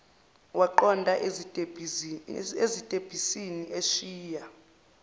waqonda ezitebhisini eshiya